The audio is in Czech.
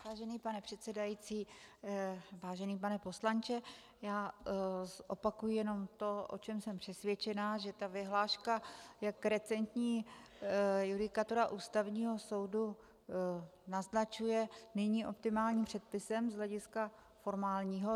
Vážený pane předsedající, vážený pane poslanče, já zopakuji jenom to, o čem jsem přesvědčena, že ta vyhláška, jak recentní judikatura Ústavního soudu naznačuje, není optimálním předpisem z hlediska formálního.